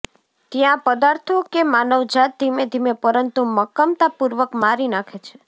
ત્યાં પદાર્થો કે માનવજાત ધીમે ધીમે પરંતુ મક્કમતાપૂર્વક મારી નાંખે છે